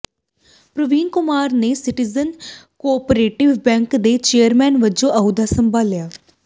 ਪ੍ਰਵੀਨ ਕੁਮਾਰ ਨੇ citizen cooperative bank ਦੇ chairman ਵਜੋਂ ਅਹੁਦਾ ਸੰਭਾਲਿਆ